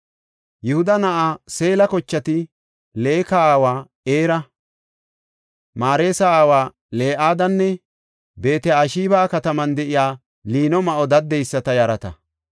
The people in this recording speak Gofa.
Yihuda na7aa Seela kochati Leeka aawa Era, Mareesa aawa Le7adanne Beet-Ashibe7a kataman de7iya liino ma7o daddeyisata yarata.